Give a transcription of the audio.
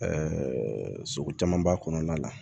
sugu caman b'a kɔnɔna la